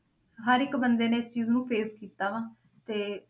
ਹਰ ਇੱਕ ਬੰਦੇ ਨੇ ਇਸ ਚੀਜ਼ ਨੂੰ face ਕੀਤਾ ਵਾ ਤੇ